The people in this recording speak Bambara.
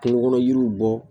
Kungo kɔnɔ yiriw bɔ